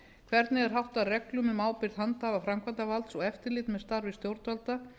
hvernig er háttað reglum um ábyrgð handhafa framkvæmdarvaldsins og eftirliti með starfi stjórnvalda